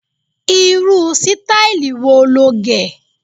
rú sítáílì wo lọ gé?